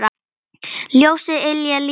Ljósið yljar lífið vekur.